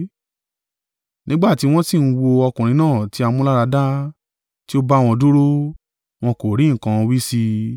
Nígbà tí wọ́n sì ń wo ọkùnrin náà tí a mú láradá, tí ó bá wọn dúró, wọn kò rí nǹkan wí sí i.